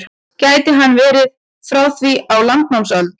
Gæti hann verið frá því á landnámsöld?